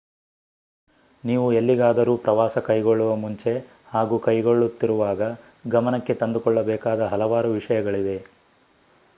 ನೀವು ಎಲ್ಲಿಗಾದರೂ ಪ್ರವಾಸ ಕೈಗೊಳ್ಳುವ ಮುಂಚೆ ಹಾಗೂ ಕೈಗೊಳ್ಳುತ್ತಿರುವಾಗ ಗಮನಕ್ಕೆ ತಂದುಕೊಳ್ಳಬೇಕಾದ ಹಲವಾರು ವಿಷಯಗಳಿವೆ